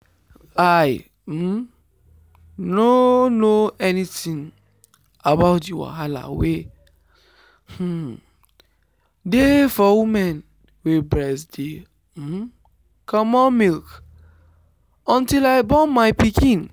i um nor know anything about the wahala wey um dey for woman wey breast dey um comot milk until i born my pikin.